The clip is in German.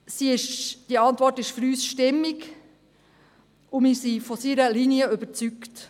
Die Antwort des Regierungsrates ist für uns stimmig, und wir sind von dessen Linie überzeugt.